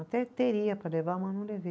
Até teria para levar, mas não levei.